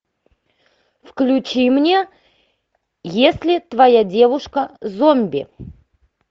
включи мне если твоя девушка зомби